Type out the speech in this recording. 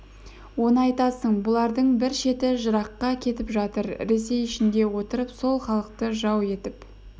оны айтасың бұлардың бір шеті жыраққа кетіп жатыр ресей ішінде отырып сол халықты жау етіп